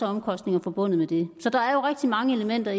omkostninger forbundet med det så der er jo rigtig mange elementer